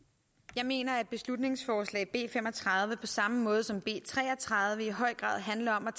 jeg mener at beslutningsforslag b fem og tredive på samme måde som b tre og tredive i høj grad handler om at